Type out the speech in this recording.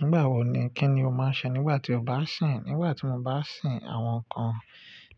Nígbà wo ni kíni o máa ń ṣe nígbà tí o bá ń sìn? Nígbà tí mo bá ń sìn, àwọn nǹkan